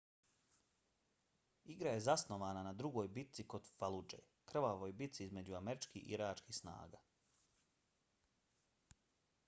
igra je zasnovana na drugoj bici kod faludže krvavoj bici između američkih i iračkih snaga